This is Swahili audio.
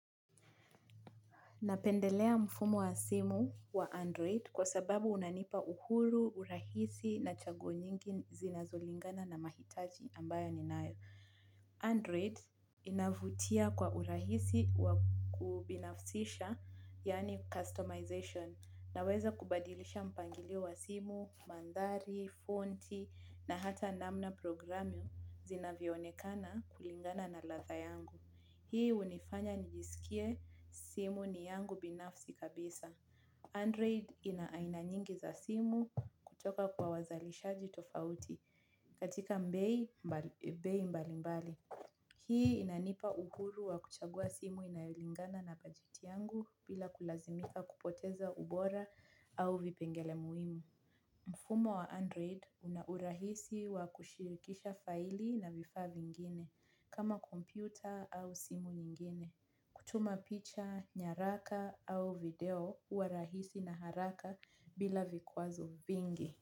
Napendelea mfumo wa simu wa Android kwa sababu unanipa uhuru, urahisi na chaguo nyingi zinazolingana na mahitaji ambayo ninayo. Android inavutia kwa urahisi wakubinafsisha, yani customization, naweza kubadilisha mpangilio wa simu, mandhari, fonti, na hata namna programu zinavyoonekana kulingana na ladha yangu. Hii unifanya nijisikie simu ni yangu binafsi kabisa. Android ina aina nyingi za simu kutoka kwa wazalisha jitofauti katika mbei mbali mbali. Hii inanipa uhuru wa kuchagua simu inayolingana na bajeti yangu bila kulazimika kupoteza ubora au vipengele muhimu. Mfumo wa Android una urahisi wa kushirikisha faili na vifaa vi ngine kama kompyuta au simu nyingine. Kutuma picha, nyaraka au video huwa rahisi na haraka bila vikwa zo vingi.